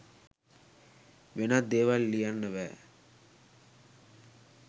වෙනත් දේවල් ලියන්න බෑ.